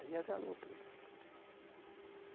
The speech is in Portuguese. Aí asalou tudo.